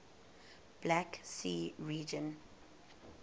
black sea region